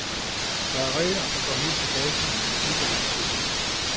Der er regler, der går helt tilbage til den antikke oldtid.